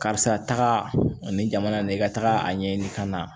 Karisa nin jamana nin i ka taga a ɲɛɲini ka na